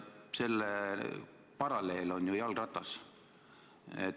Selle paralleel on ju jalgratas.